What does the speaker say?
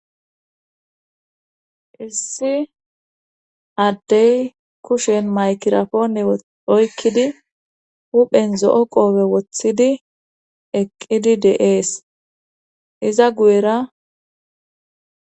Issi addey kushen maykirapoone oykkidi huphen zo7o qoowe woththidi eqqidi deees iza guyera.